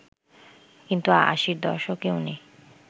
কিন্তু আশির দশকে উনি